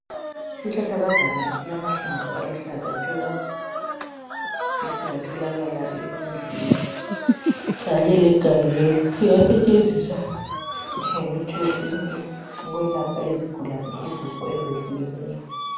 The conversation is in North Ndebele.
Isihlahlakazana esilamahlamvu aluhlaza tshoko esingatholakala ezindlini kanye legangeni singasetshenziswa njengemithi yesintu ukwelapha izigulane izifo ezehlukeneyo.